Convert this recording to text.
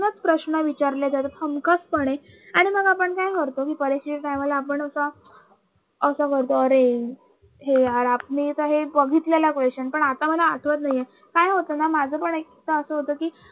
तूनच प्रश्न विचारले जातात हमखासपणे आणि मग आपण काय करतो कि परीक्षेच्या time ला आपण असं असं करतो अरे हे यार आपण आता बघितलेला हा question पण आता मला आठवत नाहीये काय होताना माझं पण एक एकदा असं होत कि